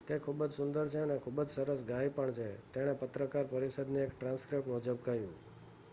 """તે ખૂબ જ સુંદર છે અને ખૂબ જ સરસ ગાય પણ છે """તેણે પત્રકાર પરિષદની એક ટ્રાન્સક્રિપ્ટ મુજબ કહ્યું.